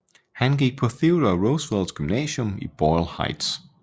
Han gik på Theodore Roosevelt gymnasium i Boyle Heights